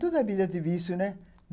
Toda a vida teve isso, né?